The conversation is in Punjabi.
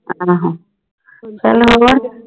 ਆਹੋ ਚੱਲ ਹੋਰ